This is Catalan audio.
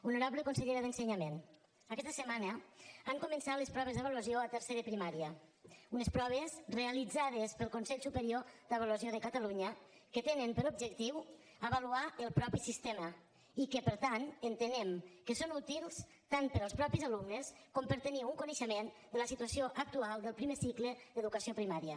honorable consellera d’ensenyament aquesta setmana han començat les proves d’avaluació a tercer de primària unes proves realitzades pel consell superior d’avaluació de catalunya que tenen per objectiu avaluar el mateix sistema i que per tant entenem que són útils tant per als mateixos alumnes com per tenir un coneixement de la situació actual del primer cicle d’educació primària